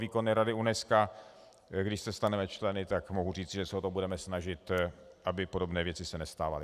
Výkonné rady UNESCO, když se staneme členy, tak mohu říci, že se o to budeme snažit, aby podobné věci se nestávaly.